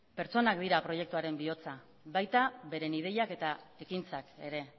pertsonak dira proiektuaren bihotza baita beren ideiak eta ekintzak ere